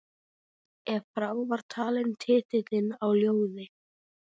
Ef frá var talinn titillinn á ljóði